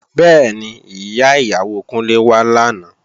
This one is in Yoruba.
Bẹ́ẹ̀ni, Ìyá ìyàwó Kúnlé wá làná